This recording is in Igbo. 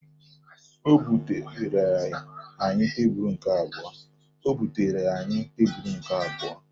O butere anyị tebulu nke abụọ